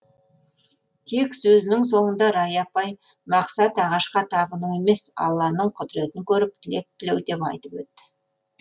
тек сөзінің соңында рая апай мақсат ағашқа табыну емес алланың құдіретін көріп тілек тілеу деп айтып өтті